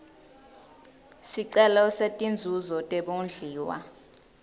sicelo setinzuzo tebondliwa